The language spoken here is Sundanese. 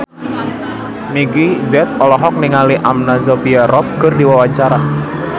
Meggie Z olohok ningali Anna Sophia Robb keur diwawancara